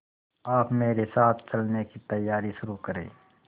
आप मेरे साथ चलने की तैयारी शुरू करें